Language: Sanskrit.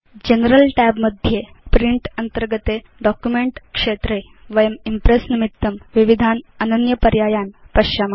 जनरल tab मध्ये प्रिंट अन्तर्गते डॉक्युमेंट क्षेत्रे वयं इम्प्रेस् निमित्तं विविधान् अनन्य पर्यायान् पश्याम